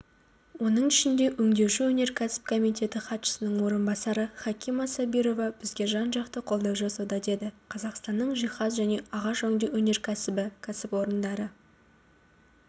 оның ішінде өңдеуші өнеркәсіп комитеті хатшысының орынбасары хакима сабирова бізге жан-жақты қолдау жасауда деді қазақстанның жиһаз және ағаш өңдеу өнеркәсібі кәсіпорындары